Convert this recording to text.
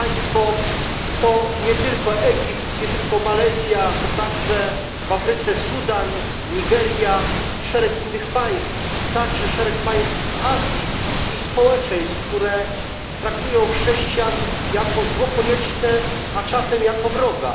To nie tylko Egipt, nie tylko Malezja, ale także w Afryce Sudan, Nigeria, szereg innych państw, także szereg państw Azji i społeczeństw traktują chrześcijan jako zło konieczne, a czasem jako wroga.